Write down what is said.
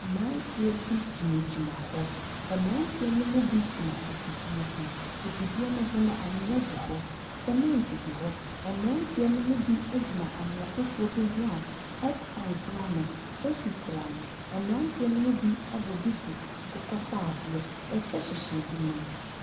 Mmeranteɛ bi gyinagyina hɔ. Mmeranteɛ no mu bi gyina afidie ho. Afidie no ho no, anwea gu hɔ. Sɛmɛnte gu hɔ. Mmeranteɛ no mu bi gyina nwea foforɔ bi ho a headpan kurano, sofi kura no. mmeranteɛ no mu bi abɔ duku akokɔsradeɛ. Ɛkyɛ hyehyɛ binom.